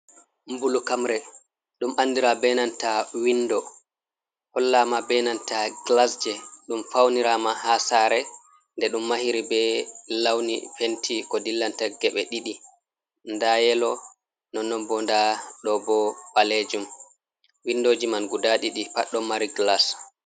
Mbulukamre ,ɗum anndira be nanta winndo hollaama, be nanta gilas jey ɗum fawniraama haa saare. Nde ɗum mahiri be lawni penti, ko dillanta geɓe ɗiɗi, ndaa yelo nonnon bo, ndaa ɗo bo ɓaleejum. winndooji man guda ɗiɗi pat ɗo mari gilas.